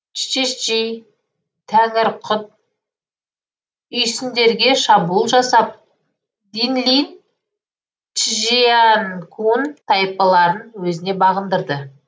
чжичжи тәңірқұт үйсіндерге шабуыл жасап динлин чжянкун тайпаларын өзіне бағындырды